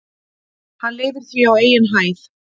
Hann lifir því á eigin hæð.